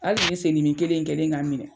Hali nin sen dimi kelen in kɛlen ka n minɛ